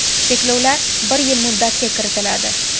Cheklovlar bir yil muddatga kiritiladi.